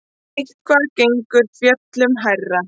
Eitthvað gengur fjöllunum hærra